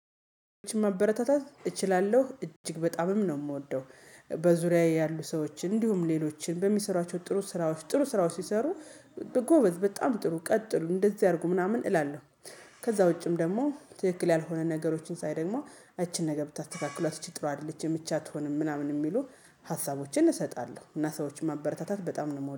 ማበረታታት እችላለሁ እጅግ በጣምም ነው የምወደው። በዙሪያዬ ያሉ ሰዎችን እንዲሁም ሌሎችን በሚሰሯቸው ጥሩ ስራዎች ጥሩ ስራዎች ሲሰሩ በጎበዝ በጣም ጥሩ ቀጥሉ እንደዚህ አድርጉ ምናምን እላለሁ። ከዛ ውጪም ደግሞ ትክክል ያልሆነ ነገሮችን ሳይ ደግሞ ይችን ነገር ብታስተካክሏት ይች ጥሩ አይደለችም ይች አትሆንም ምናምን የሚሉ ሀሳቦችን እሰጣለሁ እና ሰዎች ማበረታታት በጣም ነው የምወደው